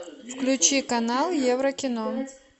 включи канал еврокино